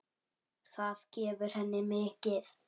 Það gefur henni mikið.